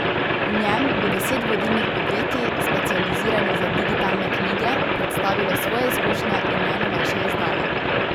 V njem bo deset vodilnih podjetij, specializiranih za digitalne knjige, predstavilo svoje izkušnje in najnovejše izdaje.